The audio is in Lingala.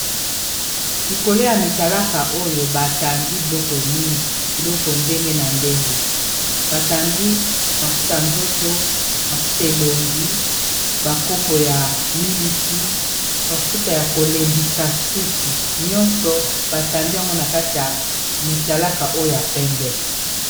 likolo ya mitalaka oyo batandi biloko mingi biloko ndenge na ndenge batandi mafuta nzoto mafuta elongi bankopo ya miliki bafuta ya kolembisa suki nyonso batandi yango na kati ya mitalaka oyo ya pembe